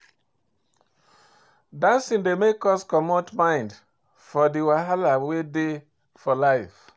Dancing dey make us comot mind for di wahala wey dey for life